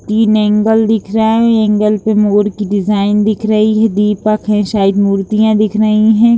तीन ऐंगल दिख रहे है ऐंगल पे मोर की डिजाइन दिख रही है दीपक है साइद मूर्तियाँ दिख रही हैं ।